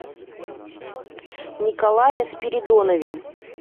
николае спиридонове